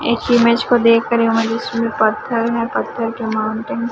एक इमेज को देखकर मुझे इसमें पत्थर में पत्थर के माउंटन --